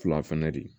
Fila fɛnɛ de ye